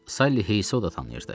Salley Heisoda tanıyırdı.